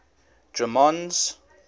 drummond's